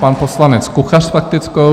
Pan poslanec Kuchař s faktickou.